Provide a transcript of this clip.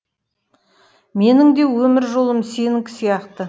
менің де өмір жолым сенікі сияқты